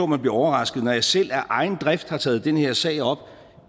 man bliver overrasket når jeg selv af egen drift har taget den her sag op